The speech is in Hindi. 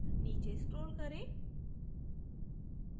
नीचे scroll करें